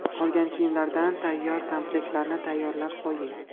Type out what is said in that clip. Qolgan kiyimlardan tayyor komplektlarni tayyorlab qo‘ying.